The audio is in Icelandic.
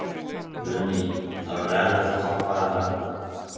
Guðný: Það verður erfitt að toppa þetta?